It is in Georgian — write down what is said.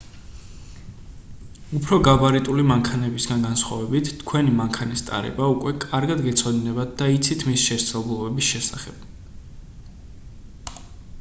უფრო გაბარიტული მანქანებისგან განსხვავებით თქვენი მანქანის ტარება უკვე კარგად გეცოდინებათ და იცით მისი შესაძლებლობების შესახებ